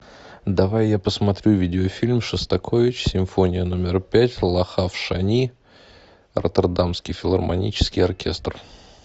давай я посмотрю видеофильм шостакович симфония номер пять лахав шани роттердамский филармонический оркестр